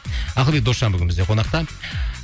ақылбек досжан бүгін бізде қонақта